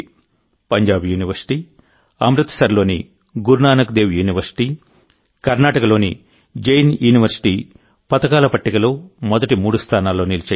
Punjab university అమృత్సర్లోని Guru Nanak Dev university కర్ణాటకలోని Jain university పతకాల పట్టికలో మొదటి మూడు స్థానాల్లో నిలిచాయి